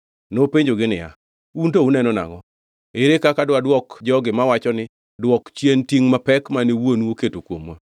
Nopenjogi niya, “Un to uneno nangʼo? Ere kaka dwadwok jogi mawacho ni, ‘Dwok chien tingʼ mapek mane wuonu oketo kuomwa’?”